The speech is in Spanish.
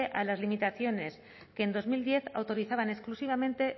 a las limitaciones que en dos mil diez autorizaban exclusivamente